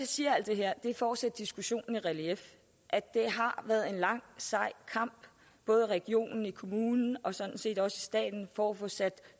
siger alt det her er for at sætte diskussionen i relief det har været en lang sej kamp både i regionen i kommunen og sådan set også i staten for at få sat